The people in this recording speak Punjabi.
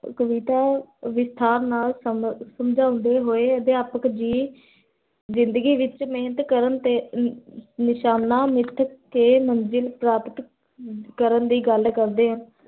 ਕਵਿਤਾ ਵਿਸਤਾਰ ਨਾਲ ਸਮ ਸਮਝੌਦੇ ਹੋਇ, ਅਧਿਆਪਕ ਜਿੰਦਗੀ ਵਿੱਚ ਮਹਿਨਤ ਕਰ ਦੇ, ਹੋਏ ਨਿਸ਼ਾਨਾ ਮਿਤ ਦੀ ਮੰਜ਼ਿਲ ਪ੍ਰਾਪ ਕਰਨ ਦੀ ਗਲ ਕਰਦੇ ਹਨ